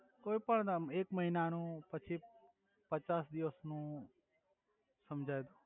કોઇ પણ એક મહિના નુ પછી પચાસ દિવસ નુ સમજાઈ દો